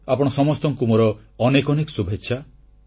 ଆପଣ ସମସ୍ତଙ୍କୁ ମୋର ଅନେକ ଅନେକ ଶୁଭେଚ୍ଛା